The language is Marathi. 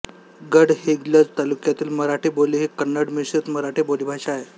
गडहिंग्लज तालुक्यातील मराठी बोली ही कन्नडमिश्रित मराठी बोलीभाषा आहे